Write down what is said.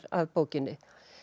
að bókinni